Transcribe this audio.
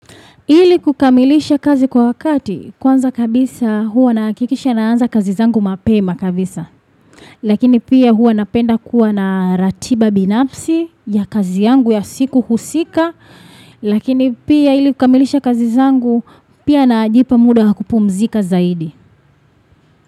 Ili kukamilisha kazi kwa wakati, kwanza kabisa huwa nahakikisha naanza kazi zangu mapema kabisa. Lakini pia huwa napenda kuwa na ratiba binafsi ya kazi yangu ya siku husika. Lakini pia ili kukamilisha kazi zangu, pia najipa muda wa kupumzika zaidi.